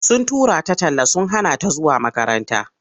Sun tura ta talla sun hana ta zuwa makaranta.